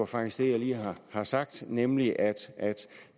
faktisk det jeg lige har sagt nemlig at